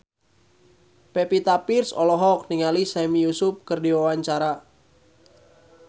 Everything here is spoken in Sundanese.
Pevita Pearce olohok ningali Sami Yusuf keur diwawancara